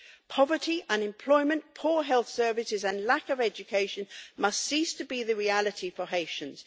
Poverty, unemployment, poor health services and lack of education must cease to be the reality for Haitians.